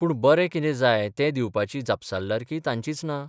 पूर्ण बरें कितें जाय तें दिवपाची जापसालदारकीय तांचीच ना?